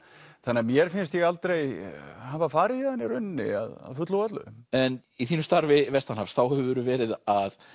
þannig að mér finnst ég aldrei hafa farið héðan í rauninni að fullu og öllu en í þínu starfi vestanhafs þá hefurðu verið að